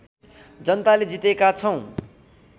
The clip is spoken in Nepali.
जनताले जितेका छौँ